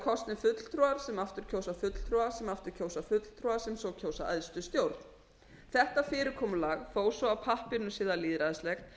kosnir fulltrúar sem aftur kjósa fulltrúa sem aftur kjósa fulltrúa sem svo kjósa æðstu stjórn þetta fyrirkomulag þó svo að á pappírnum sé það lýðræðislegt